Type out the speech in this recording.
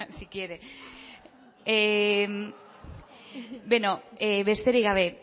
si quiere beno besterik gabe